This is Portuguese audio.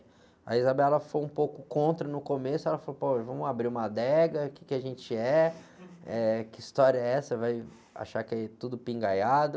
A foi um pouco contra no começo, ela falou, pô, vamos abrir uma adega, o que a gente é, eh, que história é essa? Vai achar que é tudo.